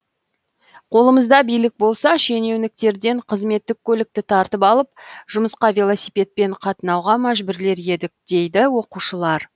қолымызда билік болса шенеуніктерден қызметтік көлікті тартып алып жұмысқа велосипедпен қатынауға мәжбүрлер едік дейді оқушылар